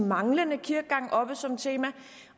manglende kirkegang oppe som tema